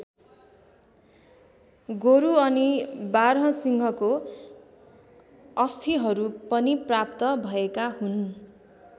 गोरु अनि बारहसिंघको अस्थिहरू पनि प्राप्त भएका हुन्।